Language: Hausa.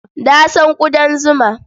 Na san ƙudan zuma.